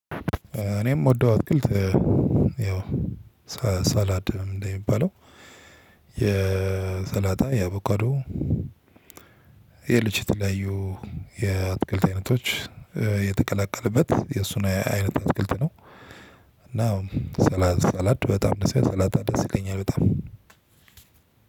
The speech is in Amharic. እኔም እምደው አትክልት ያው ሰላድ ምንድነው ሚባለው የሰላጣ የአቦካዶ የልጅ የተለያዩ የአትክልት አይነቶች የተቀላቀለበት የእሱን አይነት አትክልት ነው። እና ሰላድ በጣም ሰላጣ ደስ ይለኛል በጣም።